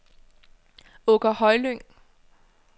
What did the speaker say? Åker Højlyng